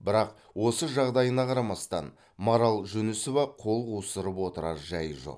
бірақ осы жағдайына қарамастан марал жүнісова қол қусырып отырар жайы жоқ